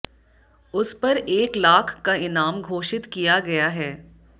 उस पर एक लाख का इनाम घोषित किया गया है